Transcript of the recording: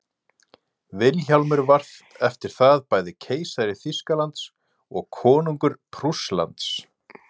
vilhjálmur var eftir það bæði keisari þýskalands og konungur prússlands